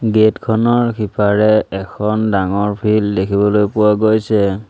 Gate খনৰ সিপাৰে এখন ডাঙৰ ফিল্ড দেখিবলৈ পোৱা গৈছে।